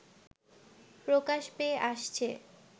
প্রকাশ পেয়ে আসছে